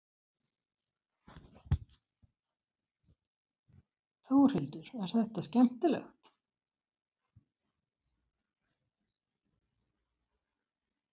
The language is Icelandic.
Þórhildur: Er þetta skemmtilegt?